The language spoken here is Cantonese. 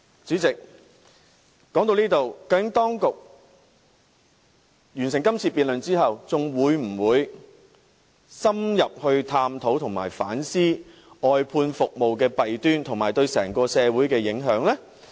主席，說到這裏，究竟在這次辯論結束後，當局會否深入探討和反思外判服務的弊端，以及對整個社會的影響呢？